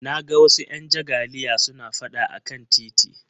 Na ga wasu 'yan jagaliya suna fada a kan titi